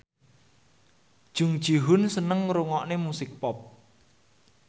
Jung Ji Hoon seneng ngrungokne musik pop